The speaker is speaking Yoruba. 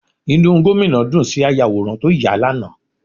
Inú Gómìnà dùn sí ayàwòrán tó yà á lánàá